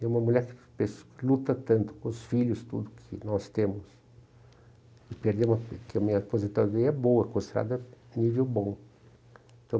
E uma mulher que luta tanto com os filhos, tudo que nós temos, e perder, que a minha aposentadoria é boa, considerada nível bom.